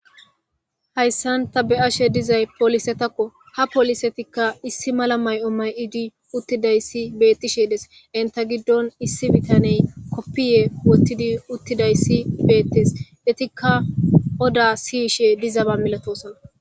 Haysan ta beyashe dizaya polisetako ha poliska issimala mayo mayidi uttidaysi betishe des enta gidon issi bitaney kofiya wothidi uttidaysi betese etika oda siyishe dizaba milatosona